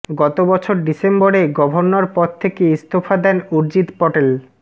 গত বছর ডিসেম্বরে গভর্নর পদ থেকে ইস্তফা দেন উর্জিত পটেল